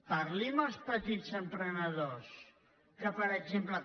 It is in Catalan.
parli amb els petits emprenedors que per exemple